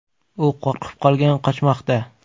U qo‘rqib qolgan, qochmoqda.